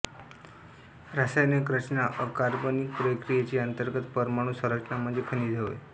रासयनिक रचना अकार्बनिक प्रक्रियेची अंतर्गत परमाणु संरचना म्हणजे खनिजे होय